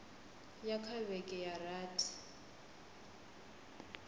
ya kha vhege dza rathi